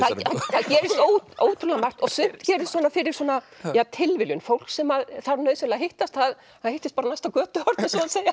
gerist ótrúlega margt og sumt gerist svona fyrir tilviljun fólk sem þarf nauðsynlega að hittast það hittist bara á næsta götuhorni